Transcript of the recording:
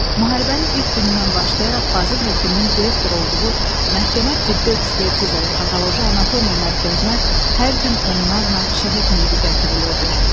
Müharibənin ilk günündən başlayaraq Fazil Həkimin direktor olduğu məhkəmə tibbi ekspertiza və patoloji anatomiya mərkəzinə hər gün onlarla şəhid meyidi gətirilirdi.